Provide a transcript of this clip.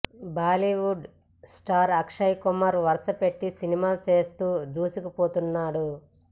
Bollywood star Akshay Kumar వరుసపెట్టి సినిమాలు చేస్తూ దూసుకుపోతున్నాడు